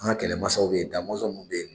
An kɛlɛ masaw bɛ ye Damɔzɔn ninnu bɛ ye.